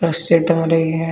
कुछ सेट हो रही है।